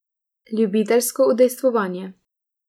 Ljubiteljsko udejstvovanje.